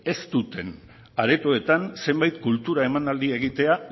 ez duten aretoetan zeinbat kultura emanaldi egite